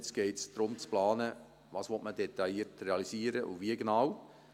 Jetzt geht es darum zu planen, was man detailliert realisieren will und wie genau.